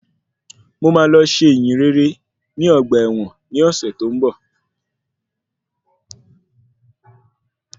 Mo máa lọ ṣe ìyìnrere ní ọgbà ẹ̀wọ̀n ní ọ̀sẹ̀ tó ń bọ̀.